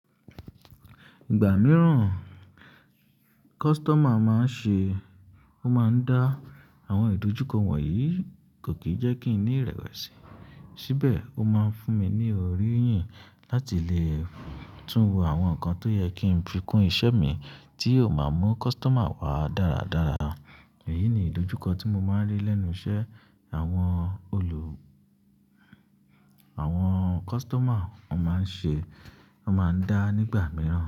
Ìgbà mìíràn customer máa ń ṣe, ó máa ń dá àwọn ìdojúkọ wọ̀nyí, kò kì í jẹ́ kí n ní ìrẹ̀wẹ̀sì. Síbẹ̀ ó máa ń fún mi ní ọ̀rìyìn láti lè tún wo àwọn nǹkan tó yẹ kí n fi kún iṣẹ́ mi tí ó máa mú customer wá dáradára. Èyí ni ìdojúkọ tí mo máa ń rí lẹ́nu iṣẹ́ àwọn olù-- àwọn kọ́sítọ́mà, wọ́n máa ń ṣe, wọ́n máa ń dá nígbà mìíràn.